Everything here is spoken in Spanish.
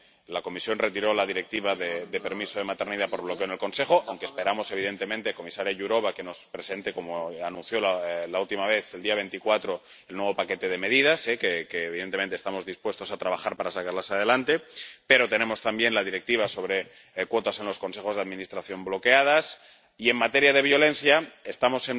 La Comisión retiró la Directiva de permiso de maternidad por bloqueo en el Consejo —aunque esperamos, evidentemente, comisaria Jourová, que nos presente como anunció la última vez, el día 24, el nuevo paquete de medidas, que evidentemente estamos dispuestos a trabajar para sacar adelante—, pero tenemos también la Directiva sobre cuotas en los consejos de administración bloqueada, y, en materia de violencia, estamos